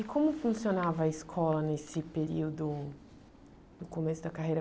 E como funcionava a escola nesse período, no começo da carreira?